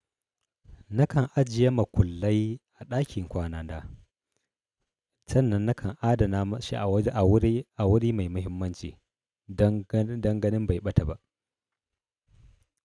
Nakan ajiye makullai a ɗakin kwanana. Sannan nakan adana shi a wuri mai muhimmanci don ganin bai ɓata ba.